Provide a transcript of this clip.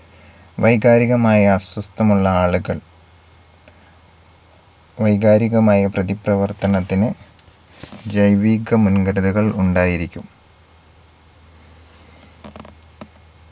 വൈകാരികമായ അസ്വസ്ഥമുള്ള ആളുകൾ വൈകാരികമായ പ്രതിപ്രവർത്തനത്തിന് ജൈവിക മുൻഘടനകൾ ഉണ്ടായിരിക്കും